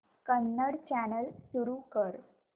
Kannada channel सुरू कर